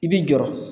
I bi jɔrɔ